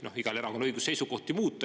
No eks igal erakonnal on õigus seisukohti muuta.